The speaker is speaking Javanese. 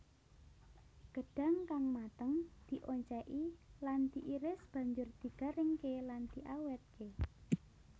Gedhang kang mateng dioncéki lan diiris banjur digaringké lan diawétké